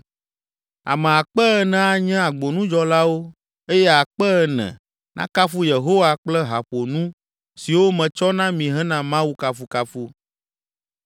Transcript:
Ame akpe ene (4,000) anye agbonudzɔlawo eye akpe ene (4,000) nakafu Yehowa kple haƒonu siwo metsɔ na mi hena Mawu kafukafu.”